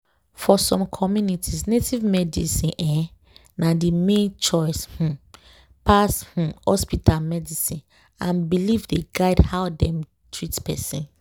for some communities native medicine um na the main choice um pass um hospital medicine and belief dey guide how dem treat person.